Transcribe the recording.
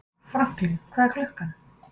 Franklín, hvað er klukkan?